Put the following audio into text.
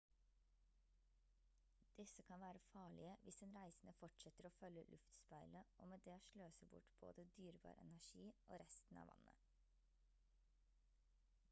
disse kan være farlige hvis den reisende fortsetter å følge luftspeilet og med det sløser bort både dyrebar energi og resten av vannet